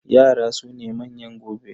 Yara su ne manyan gobe.